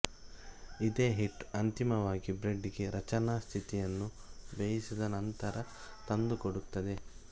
ಇದೇ ಹಿಟ್ಟು ಅಂತಿಮವಾಗಿ ಬ್ರೆಡ್ ಗೆ ರಚನಾ ಸ್ಥಿತಿಯನ್ನು ಬೇಯಿಸಿದ ನಂತರ ತಂದುಕೊಡುತ್ತದೆ